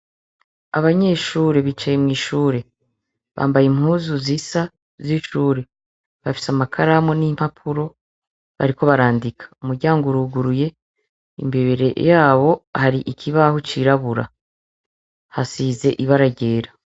Abanyeshure bicaye mw'ishure, bambaye impuzu bambaye impuzu zisa bafise amakaramu n'impapuro bariko barandika umuryango uruguruye imbere yabo hari kibaho cirabura hasize ibara ryera.